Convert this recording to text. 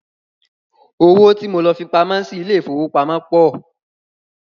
Owó tí mo lọ fipamọ́ sí ilé ìfowópamọ́ pọ̀.